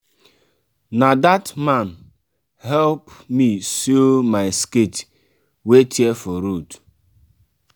na dat man help me sew my skirt wey tear for road.